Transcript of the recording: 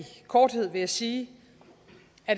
korthed at sige